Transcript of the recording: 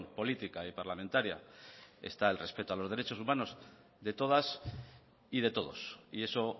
política y parlamentaria está el respeto a los derechos humanos de todas y de todos y eso